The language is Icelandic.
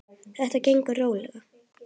Þetta gengur rólega.